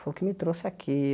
Foi o que me trouxe aqui.